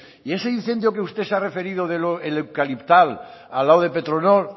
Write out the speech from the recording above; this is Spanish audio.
y ese incendio que usted se ha referido del eucaliptal al lado de petronor